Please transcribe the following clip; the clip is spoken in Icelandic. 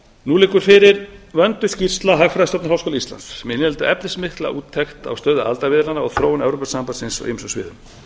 nú liggur fyrir vönduð skýrsla hagfræðistofnunar háskóla íslands sem inniheldur efnismikla úttekt á stöðu aðildarviðræðnanna og þróun evrópusambandsins á ýmsum sviðum